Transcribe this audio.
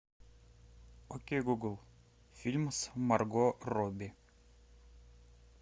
окей гугл фильм с марго робби